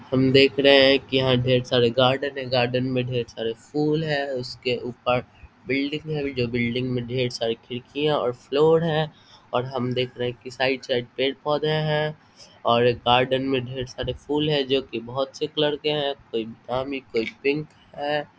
हम देख रहे हैं की यहाँ ढ़ेर सारे गार्डन है गार्डन में ढ़ेर सारे फूल है उसके ऊपर बिल्डिंग है जो बिल्डिंग मे ढ़ेर सारे खिड़कियाँ और फ्लोर है और हम देख रहे हैं कि साइड साइड पेड़-पौधे हैं और एक गार्डन मे ढ़ेर सारे फूल हैं जो की बहोत से कलर के हैं कोई बादामी कोई पिंक है।